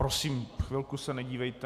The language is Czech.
Prosím, chvilku se nedívejte .